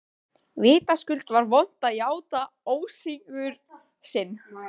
Vitaskuld var vont að játa ósigur sinn.